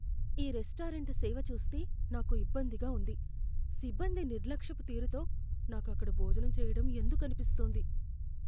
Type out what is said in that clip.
ఈ రెస్టారెంట్ సేవ చూస్తే నాకు ఇబ్బందిగా ఉంది, సిబ్బంది నిర్లక్ష్యపు తీరుతో నాకు అక్కడ భోజనం చేయటం ఎందుకు అనిపిస్తోంది.